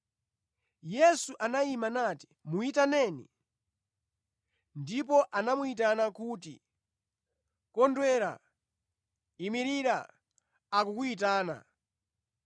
Yesu anayima nati, “Muyitaneni.” Ndipo anamuyitana kuti, “Kondwera! Imirira! Akukuyitana.”